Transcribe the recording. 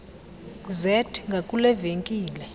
zet ngakule venkile